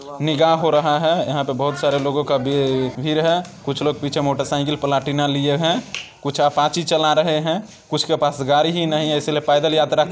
निकाह हो रहा है | यहाँ पे बहुत सारे लोगों का भी भीड़ है | कुछ लोग पीछे मोटर साइकिल प्लेटिना लिए हैं कुछ अपाची चला रहे हैं कुछ के पास गड़ी ही नहीं है इसीलिए पेेदल यात्रा --